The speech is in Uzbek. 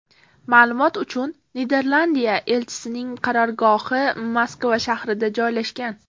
Ma’lumot uchun, Niderlandiya elchisining qarorgohi Moskva shahrida joylashgan.